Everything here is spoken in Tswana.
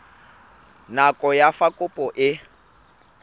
nako ya fa kopo e